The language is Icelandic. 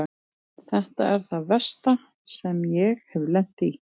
Þetta er það versta sem ég hef lent í.